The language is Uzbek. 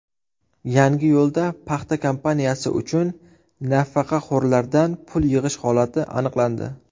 Yangiyo‘lda paxta kampaniyasi uchun nafaqaxo‘rlardan pul yig‘ish holati aniqlandi.